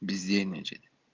бездельничать